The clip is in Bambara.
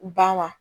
Ba ma